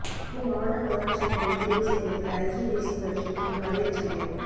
இரு மாவட்ட முதலமைச்சர்களைத் தெரிவு செய்வதில் ஐக்கிய தேசியக் கட்சிக்குள் கதிரைச் சண்டை